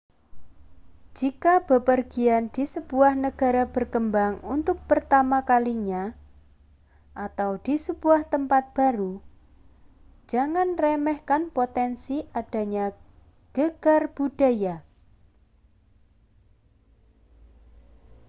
jika bepergian di sebuah negara berkembang untuk pertama kalinya â€ atau di sebuah tempat baru â€ jangan remehkan potensi adanya gegar budaya